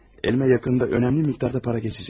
Əlimə yaxın vaxtda əhəmiyyətli miqdarda pul keçəcək.